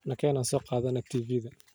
Nageen aan sookadhanex tiiviidha.